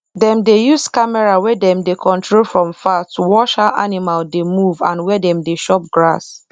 dem dey use camera wey dem dey control from far to watch how animal dey move and where dem dey chop grass